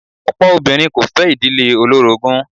Ọ̀pọ̀ obìnrin kò fẹ́ ìdílé olórogún.